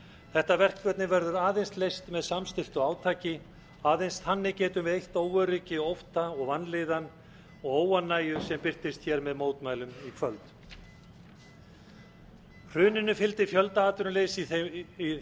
þetta verkefni verður aðeins leyst með samstilltu átaki aðeins þannig getum við eytt óöryggi ótta og vanlíðan og óánægju sem birtist hér með mótmælum í kvöld hruninu fylgdi fjöldaatvinnuleysi í